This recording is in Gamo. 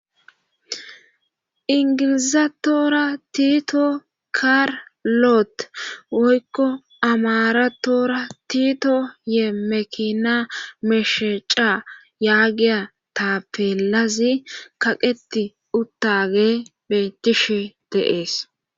Ingilizatora tiito kaarlote woykko amaratoora tiito yee mekina meshaca yaagiya ta peelazi kaqeti uttage betishe deees